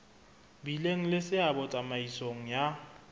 bileng le seabo tsamaisong ya